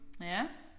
Ja